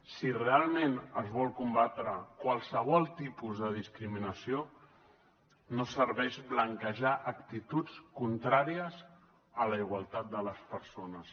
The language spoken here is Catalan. si realment es vol combatre qualsevol tipus de discriminació no serveix blanquejar actituds contràries a la igualtat de les persones